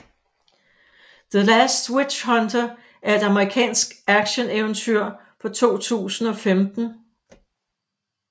The Last Witch Hunter er et amerikansk actioneventyr fra 2015